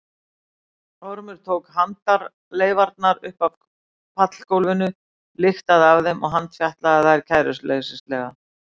Ormur tók handarleifarnar upp af pallgólfinu lyktaði af þeim og handfjatlaði þær kæruleysislega.